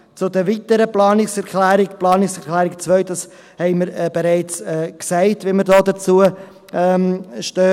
Zu den weiteren Planungserklärungen: Bei der Planungserklärung 2 haben wir bereits gesagt, wie wir dazu stehen.